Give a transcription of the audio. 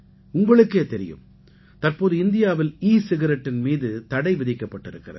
உங்களுக்கே தெரியும் தற்போது இந்தியாவில் ஈ சிகரெட்டின் மீது தடை விதிக்கப்பட்டிருக்கிறது